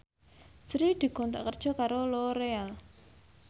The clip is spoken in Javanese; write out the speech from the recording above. Sri dikontrak kerja karo Loreal